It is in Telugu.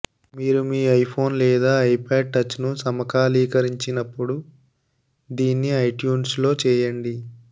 మీరు మీ ఐఫోన్ లేదా ఐపాడ్ టచ్ను సమకాలీకరించినప్పుడు దీన్ని ఐట్యూన్స్లో చేయండి